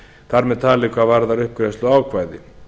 þar með talið hvað varðar uppgreiðsluákvæði